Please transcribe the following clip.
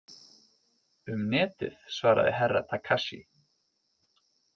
Um Netið, svaraði Herra Takashi.